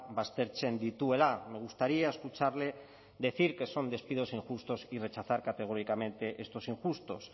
baztertzen dituela me gustaría escucharle decir que son despidos injustos y rechazar categóricamente estos injustos